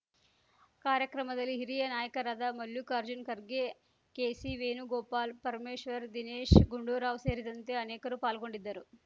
ಕಾರ್ಯಕ್ರಮದಲ್ಲಿ ಹಿರಿಯ ನಾಯಕರಾದ ಮಲ್ಲುಕಾರ್ಜುನ ಖರ್ಗೆ ಕೆಸಿವೇಣು ಗೋಪಾಲ್ ಪರಮೇಶ್ವರ್ ದಿನೇಶ್ ಗುಂಡೂರಾವ್ ಸೇರಿದಂತೆ ಅನೇಕರು ಪಾಲ್ಗೊಂಡಿದ್ದರು